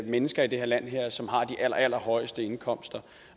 mennesker i det her land som har de allerallerhøjeste indkomster